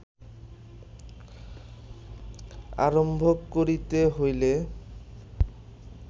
আরম্ভ করিতে হইলে